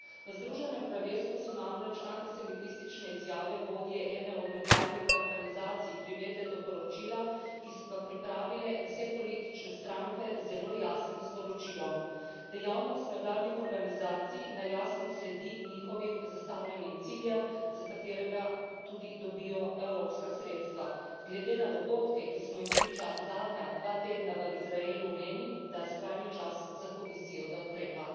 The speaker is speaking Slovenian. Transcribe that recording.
V Združenem kraljestvu so namreč antisemistične izjave vodje ene od nevladnih organizacij privedle do poročila, ki so ga pripravile vse politične stranke, z zelo jasnim sporočilom dejavnost nevladnih organizacij naj jasno sledi njihovim zastavljenim ciljem, za katerega tudi dobijo evropska sredstva. Glede na dogodke, ki smo jim priča zadnja dva tedna v Izraelu, menim, da je skrajni čas za Komisijo, da ukrepa!